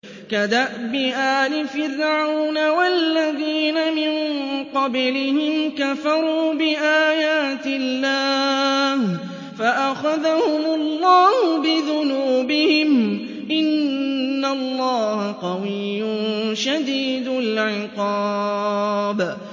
كَدَأْبِ آلِ فِرْعَوْنَ ۙ وَالَّذِينَ مِن قَبْلِهِمْ ۚ كَفَرُوا بِآيَاتِ اللَّهِ فَأَخَذَهُمُ اللَّهُ بِذُنُوبِهِمْ ۗ إِنَّ اللَّهَ قَوِيٌّ شَدِيدُ الْعِقَابِ